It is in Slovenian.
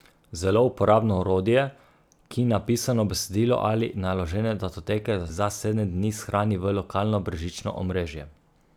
Zelo uporabno orodje, ki napisano besedilo ali naložene datoteke za sedem dni shrani v lokalno brezžično omrežje.